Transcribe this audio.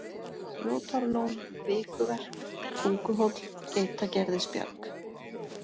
Grjótárlón, Vikuverk, Tunguhóll, Geitagerðisbjarg